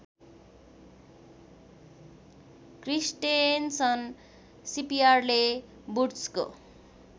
Christensen सिपयार्डले वुड्सको